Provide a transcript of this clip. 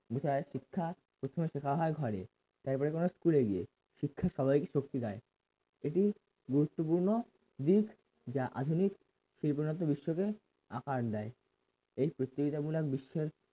বিষয় শিক্ষা প্রথম শেখা হয় ঘরে তারপরে তোমার school এ গিয়ে শিক্ষা সবাইকে শক্তি দেয় এটি গুরুত্বপূর্ণ দিক যে আধুনিক বিশ্বকে আকার দেয় এই প্রতিযোগিতামূলক বিশ্ব এর